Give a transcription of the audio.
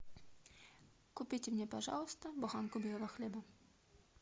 купите мне пожалуйста буханку белого хлеба